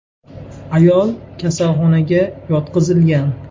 Ayol kasalxonaga yotqizilgan.